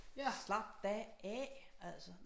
Slap da af altså